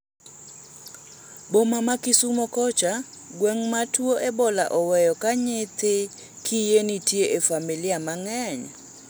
Boma ma Kisumo kocha, gweng' ma tuo ebola oweyo ka nyithi kiye nitie e familia mang'eny